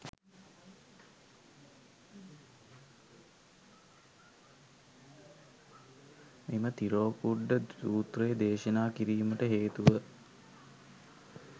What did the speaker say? මෙම තිරෝකුඩ්ඩ සූත්‍රය දේශනා කිරීමට හේතුව